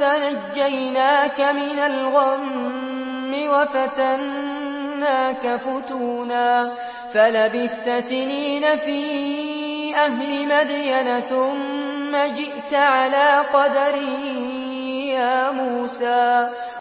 فَنَجَّيْنَاكَ مِنَ الْغَمِّ وَفَتَنَّاكَ فُتُونًا ۚ فَلَبِثْتَ سِنِينَ فِي أَهْلِ مَدْيَنَ ثُمَّ جِئْتَ عَلَىٰ قَدَرٍ يَا مُوسَىٰ